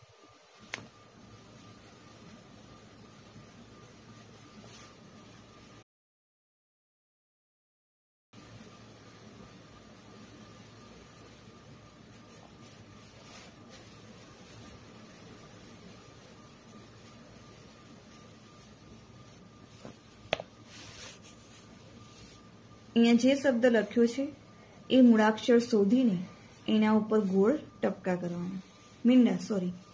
અહિયાં જે શબ્દ લખ્યો છે એ મૂળાક્ષર શોધીને એના ઉપર ગોળ ટપકા કરવાના છે મીંડાં sorry